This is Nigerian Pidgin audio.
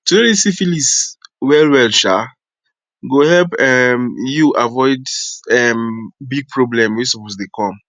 to know this syphilis well well um go help um u avoid um big problem were suppose dey come